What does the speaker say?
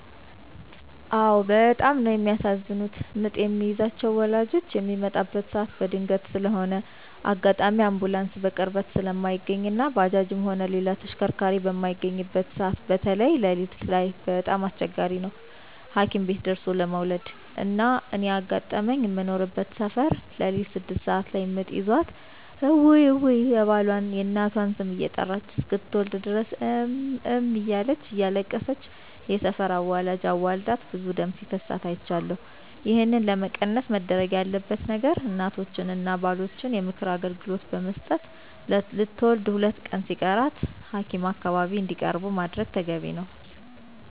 አዎ በጣም ነው የሚያሳዝኑት ምጥ የሚይዛቸው ወላጆች ሚመጣበት ሰዓት በድንገት ስለሆነ አጋጣሚ አንቡላንስ በቅርበት ስለማይገኝ እና ባጃጅም ሆነ ሌላ ተሽከርካሪ በማይገኝበት ሰዓት በተይ ለሊት ላይ በጣም አስቸጋሪ ነው ሀኪም ደርሦለ መዉለድ። እና እኔ ያጋጠመኝ ምኖርበት ሰፈር ለሊት ስድስት ሰዓት ላይ ምጥ ይዟት እውይ እውይ የባሏን፣ የእናቷን ስም እየጠራች እስክትወልድ ድረስ እም እም እያለች እያለቀሰች የሰፈር አዋላጅ አዋልዳት ብዙ ደም ሲፈሳት አይቻለሁ። ይህን ለመቀነስ መደረግ ያለበት ነገር እናቶችን እና ባሎችን የምክር አገልግሎት ብመስጠት ለትውልድ ሁለት ሲቀራቸው ሀኪም አካባቢ እንዲቀርቡ ማድረግ ተገቢ ነው።